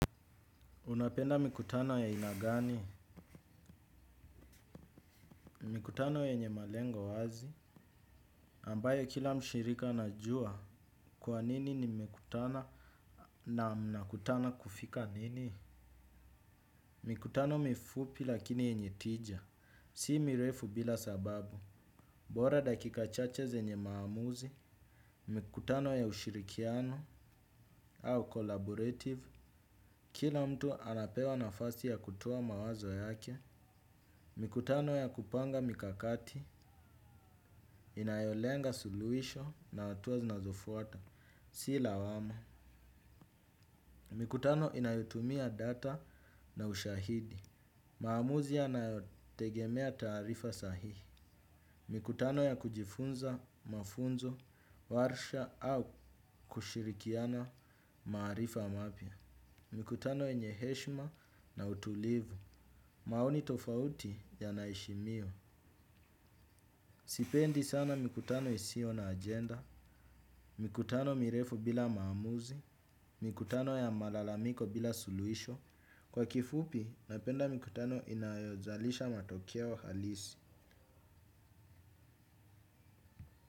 Unapenda mikutano ya aina gani, mikutano yenye malengo wazi, ambayo kila mshirika anajua, kwa nini nimekutana na mna kutana kufika nini? Mikutano mifupi lakini yenye tija, si mirefu bila sababu, bora dakika chache zenye maamuzi, mikutano ya ushirikiano, au collaborative, kila mtu anapewa nafasi ya kutua mawazo yake, mikutano ya kupanga mikakati, inayolenga suluhisho na watuwa zinazofuata, si lawama. Mikutano inayotumia data na ushahidi. Maamuzi yanayotegemea tarifa sahihi. Mikutano ya kujifunza, mafunzo, warsha au kushirikiana maarifa mapya. Mikutano yenye heshma na utulivu. Maoni tofauti yanaheshimiwa. Sipendi sana mikutano isio na ajenda. Mikutano mirefu bila maamuzi. Mikutano ya malalamiko bila suluisho. Kwa kifupi, napenda mikutano inayozalisha matokeo halisi.